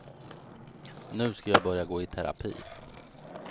Nu ska jag börja gå i terapi.